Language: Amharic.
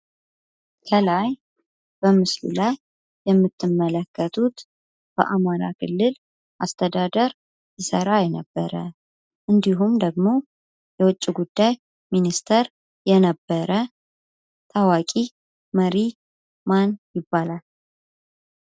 ከላይ በምስሉ ላይ የምትመለከቱት በአማራ ክልል አስተዳደር ሰራ የነበረ እንዲሁም ደግሞ የውጭ ጉዳይ ሚኒስትር የነበረ ታዋቂ መሪ ማን ይባላል?